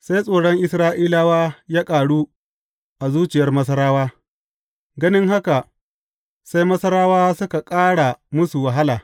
Sai tsoron Isra’ilawa ya ƙaru a zuciyar Masarawa, ganin haka sai Masarawa suka ƙara musu wahala.